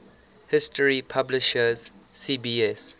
history publisher cbs